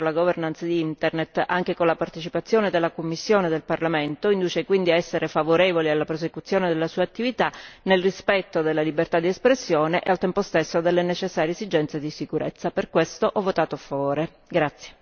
L'importante ruolo svolto dal Forum per la governance di Internet, anche con la partecipazione della Commissione e del Parlamento, induce quindi a essere favorevoli alla prosecuzione della sua attività nel rispetto della libertà di espressione e al tempo stesso delle necessarie esigenze di sicurezza.